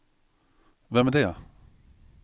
vem är det